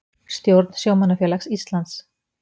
Stjórn Sjómannafélags Íslands